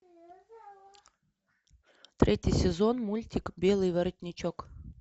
третий сезон мультик белый воротничок